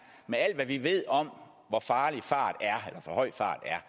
med alt hvad vi ved om hvor farlig for høj fart er